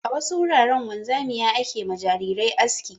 A wasu wuraren wanzamia ke ma jarirai aski.